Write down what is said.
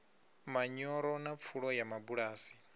manyoro na pfulo ya mabulasi